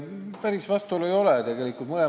Päris vastuolu tegelikult ei ole.